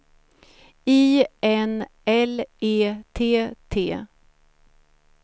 I N L E T T